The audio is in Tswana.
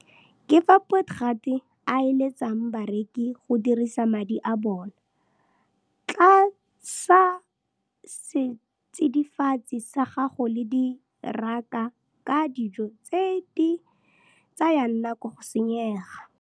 Ka fao Potgieter a eletsang bareki go disa madi a bona. Tlasa setsidifatsi sa gago le diraka ka dijo tse di tsayang nako go senyega.